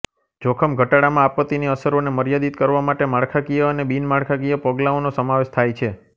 જોખમઘટાડામાં આપત્તિની અસરોને મર્યાદિત કરવા માટે માળખાકીય અને બિનમાળખાકીય પગલાંઓનો સમાવેશ થાય છે